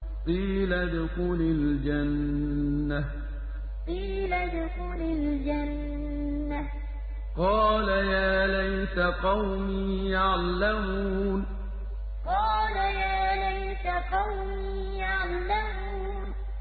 قِيلَ ادْخُلِ الْجَنَّةَ ۖ قَالَ يَا لَيْتَ قَوْمِي يَعْلَمُونَ قِيلَ ادْخُلِ الْجَنَّةَ ۖ قَالَ يَا لَيْتَ قَوْمِي يَعْلَمُونَ